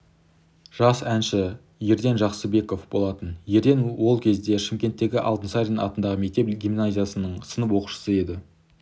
жас әнші ерден жақсыбеков болатын ерден ол кезде шымкенттегі алтынсарин атындағы мектеп-гимназиясының сынып оқушысы еді